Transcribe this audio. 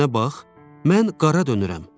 Bir mənə bax, mən qara dönürəm.